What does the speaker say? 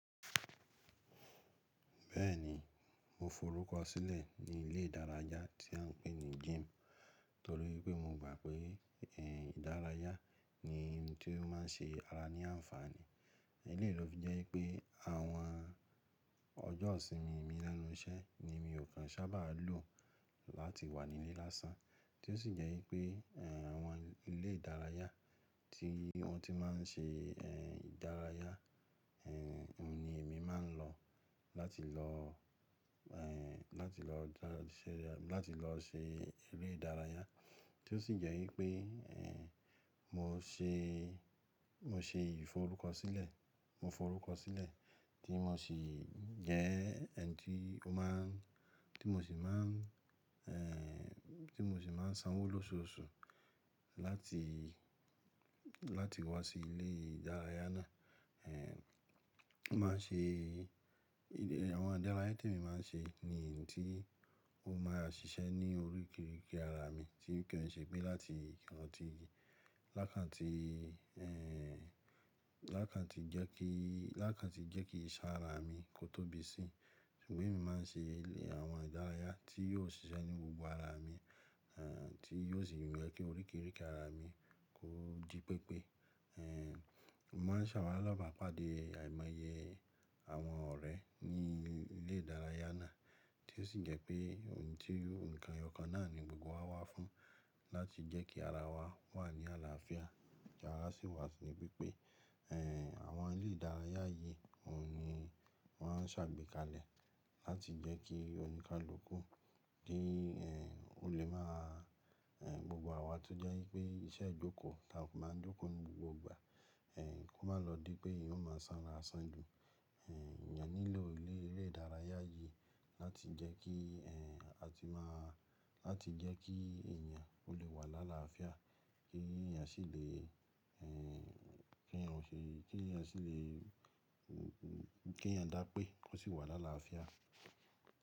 Bẹ́ẹ̀ni, mo forúkọ sílẹ̀ ní ilé ìdárayá tí à n pè ní gym torí pé mo gbà pé, ẹ́ ìdárayá ni ohun tí ó má n ṣe ara ní ànfàní. Eléyìí ló jẹ́ pé àwọn ọjọ́ ìsinmi mi lẹ́nu iṣẹ́ ni mi ò kan sábà lò láti wà nílé lásán. Tí ó sì jẹ́ wípé, ẹ́ àwọn ilé ìdárayá tí wọ́n ti má n ṣe, ẹ́ ìdárayá, ẹ́ òun ni èmi má n lọ láti lọ, ẹ́ láti lọ dárayá, láti lọ ṣe eré ìdárayá. Tí ó sì jẹ́ wípé, ẹ́ mo ṣe, mo ṣe ìforúkọsílẹ̀, mo forúkọ sílẹ̀ tí mo sì jẹ́ ẹ́ n tí ó má n, tí mo sì má n, ẹ́ tí mo sì má n sanwó lóṣoolóṣù láti, láti wá sí ilé ìdárayá náà. Ẹ́ ó má n ṣe, àwọn ìdárayá tí èmi má n ṣe ni ohun tí ó má ra ṣiṣẹ́ ní oríkerike ara mi tí ò kan ṣẹ pé láti, láti, lákàntí, ẹ́ lákàntí jẹ́ kí, lákàntí jẹ́ kí iṣẹ́ ara mi kó tóbi sí. Ṣùgbọ́n èmi má n ṣe àwọn ìdárayá tí yóò ṣiṣẹ́ ní gbogbo ara mi, ẹ́ tí yóò sì mú ẹ́ kí oríkerike ara mi kó jí pépé. Ẹ́ mo má n ṣalabapade de àìmọye àwọn ọ̀rẹ́ ní ilé ìdárayá náà tí ó sì jẹ́ pé ohun tí, ǹkan ìyọkàn náà ni gbogbo wa wá fún láti jẹ́ kí ara wa wà ní àlàáfíà. Ki àrà sì wà níbí pé, ẹ́ àwọn ilé ìdárayá yìí òun ni wọ́n á ṣàgbékalẹ̀ láti jẹ́ kí oníkálukú ki, ẹ́ ó lè má a, ẹ́ gbogbo àwa tó jẹ́ wípé iṣẹ́ ijókòó la ó má n jókòó ní gbogbo ìgbà, ẹ́ kó má lọ dí pé ìhùn má sanra san ju. Ẹ̀nyàn nílò ilé ìdárayá yìí láti jẹ́ kí, ẹ́ a ti má a, láti jẹ́ kí èèyàn ó lè wà láàlá àáfíà kí èèyàn sì lè, ẹ́ kí èèyàn ṣe, kí èèyàn sì lè, kí èèyàn dá pé ó sì wà láàlá àáfíà.